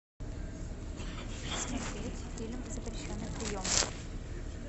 смотреть фильм запрещенный прием